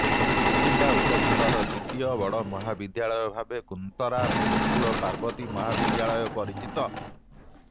କୁଚିଣ୍ଡା ଉପଖଣ୍ଡର ଦ୍ୱିତୀୟ ବଡ ମହାବିଦ୍ୟାଳୟ ଭାବେ କୁନ୍ତରା ଗୋକୂଳ ପାର୍ବତୀ ମହାବିଦ୍ୟାଳୟ ପରିଚିତ